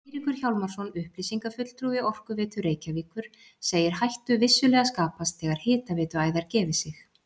Eiríkur Hjálmarsson, upplýsingafulltrúi Orkuveitu Reykjavíkur, segir hættu vissulega skapast þegar hitaveituæðar gefi sig.